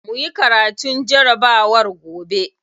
Muyi karatun jarabawar gobe.